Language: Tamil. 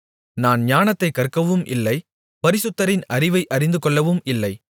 நான் ஞானத்தைக் கற்கவும் இல்லை பரிசுத்தரின் அறிவை அறிந்துகொள்ளவும் இல்லை